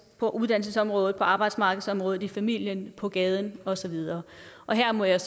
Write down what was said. på uddannelsesområdet på arbejdsmarkedsområdet i familien på gaden og så videre her må jeg